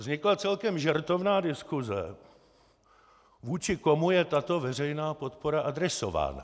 Vznikla celkem žertovná diskuse, vůči komu je tato veřejná podpora adresována.